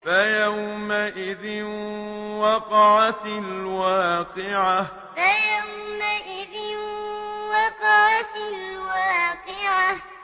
فَيَوْمَئِذٍ وَقَعَتِ الْوَاقِعَةُ فَيَوْمَئِذٍ وَقَعَتِ الْوَاقِعَةُ